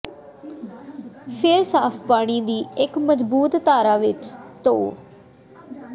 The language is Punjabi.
ਫਿਰ ਸਾਫ਼ ਪਾਣੀ ਦੀ ਇੱਕ ਮਜ਼ਬੂਤ ਧਾਰਾ ਵਿੱਚ ਧੋ